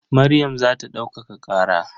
Maryam za ta ɗaukaka ƙara.